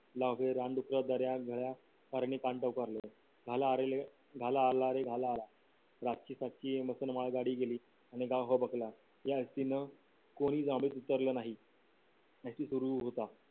रानडुक्कर दर्या खुर्या भालारे भाला आला रे भाला आला रातची फातची गाडी गेली आणि गाव हबकला